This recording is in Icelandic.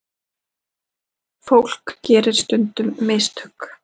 Fólk gerir stundum mistök.